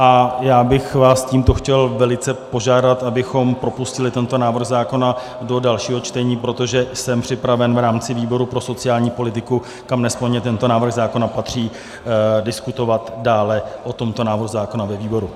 A já bych vás tímto chtěl velice požádat, abychom propustili tento návrh zákona do dalšího čtení, protože jsem připraven v rámci výboru pro sociální politiku, kam nesporně tento návrh zákona patří, diskutovat dále o tomto návrhu zákona ve výboru.